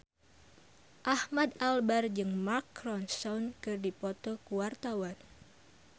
Ahmad Albar jeung Mark Ronson keur dipoto ku wartawan